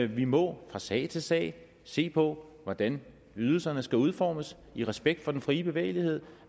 vi må fra sag til sag se på hvordan ydelserne skal udformes i respekt for den frie bevægelighed